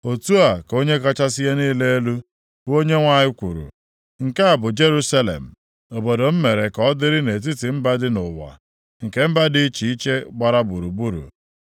“Otu a ka Onye kachasị ihe niile elu, bụ Onyenwe anyị kwuru, Nke a bụ Jerusalem, obodo m mere ka ọ dịrị nʼetiti mba dị nʼụwa, nke mba dị iche iche gbara gburugburu.